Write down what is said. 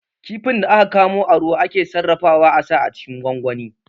Kifin da aka kamo a ruwa ake sarrafawa a sa cikin gwangwani